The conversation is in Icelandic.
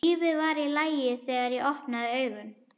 Lífið var í lagi þegar ég opnaði augun.